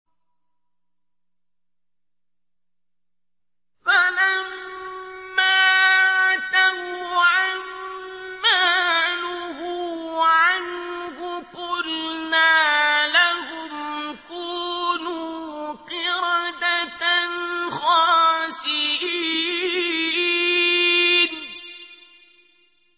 فَلَمَّا عَتَوْا عَن مَّا نُهُوا عَنْهُ قُلْنَا لَهُمْ كُونُوا قِرَدَةً خَاسِئِينَ